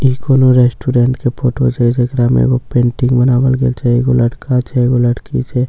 ई कोनो रेस्टोरेंट के फोटो छे जेकरा मे एगो पेंटिंग बनावल गेल छे एगो लड़का छै एगो लड़की छै--